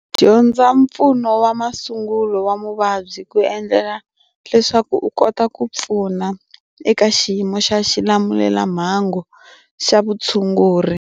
Dyondza mpfuno wa masungulo wa muvabyi ku endlela leswaku u kota ku pfuna eka xiyimo xa xilamulelamhangu xa vutshunguri.